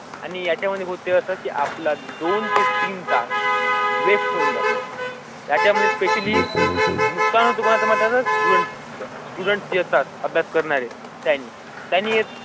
आणि ह्याच्यामध्ये त्यासाठी आपला दोन ते तीन तास वेस्ट होऊन जातो. त्याच्या मध्ये स्पेशली नुकसान तुम्हाला स्ट्यूडन्ट्स स्टुडेंट जसा अभ्यास करणारे त्यांनी त्यांनी.